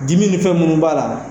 Dimi ni fɛn minnu b'a la